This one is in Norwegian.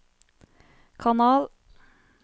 kanal